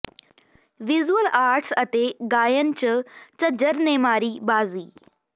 visual arts ਅਤੇ ਗਾਇਨ ਚ ਝੱਜਰ ਨੇ ਮਾਰੀ ਬਾਜ਼ੀ